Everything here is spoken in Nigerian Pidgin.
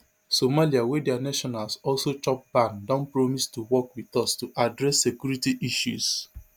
somalia wey dia nationals also chop ban don promise to work wit us to address security issues